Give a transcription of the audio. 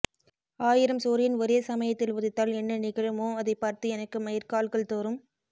ஆயிரம் சூரியன் ஒரே சமயத்தில் உதித்தால் என்ன நிகழுமோ அதைப் பார்த்து எனக்கு மயிர்க்கால்கள் தோறும்